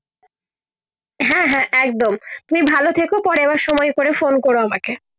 হ্যাঁ হ্যাঁ একদম তুমি ভালো থেকো পরে আবার সময় করে ফোন করো আমাকে